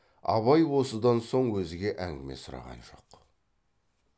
абай осыдан соң өзге әңгіме сұраған жоқ